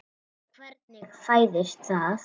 Hvernig fæðist það?